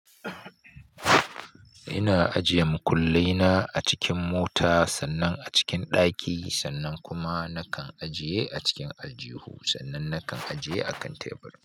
Ina ajiye makullai na a cikin mota, sannan a cikin ɗaki, sannan kuma nakan ajiye a cikin aljihu, sannan nakan ajiye a kan teburi.